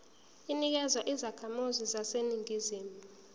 inikezwa izakhamizi zaseningizimu